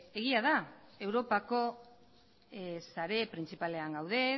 egia da europako sare printzipalean gaude